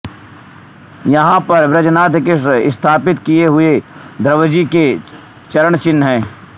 यहाँ पर वज्रनाभ के स्थापित किए हुए ध्रुवजी के चरणचिह्न हैं